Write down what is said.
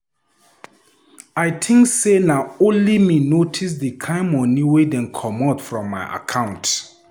I think say na only me notice the kin money wey dey comot from my account.